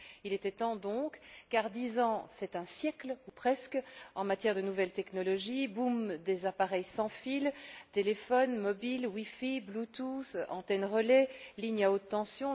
Il était temps donc, car dix ans c'est un siècle, ou presque, en matière de nouvelles technologies boom des appareils sans fil, téléphones mobiles, wifi, bluetooth, antennes relais, lignes à haute tension.